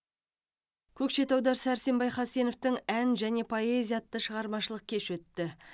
көкшетауда сәрсенбай хасеновтың ән және поэзия атты шығармашылық кеші өтті